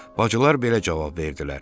Bacılar belə cavab verdilər: